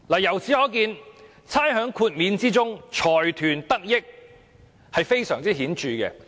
由此可見，財團得益非常顯著。